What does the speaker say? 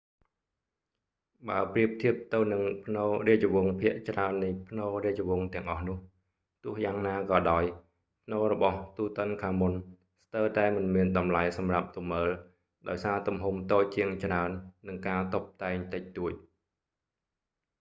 បើប្រៀបធៀបទៅនឹងផ្នូររាជវង្សភាគច្រើននៃផ្នូររាជវង្សទាំងអស់នោះ ទោះយ៉ាងក៏ដោយ ផ្នូររបស់ទូតិនខាមុន tutankhamunm ស្ទើរតែមិនមានតម្លៃសម្រាប់ទៅមើល ដោយសារទំហំតូចជាងច្រើន និងការតុបតែងតិចតួច